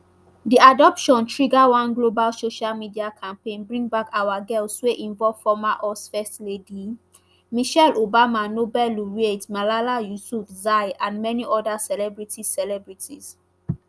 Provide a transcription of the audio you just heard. di abduction trigger one global social media campaign bringbackourgirls wey involve former us first lady michelle obama nobel laureate malala yusufzai and many oda celebrities celebrities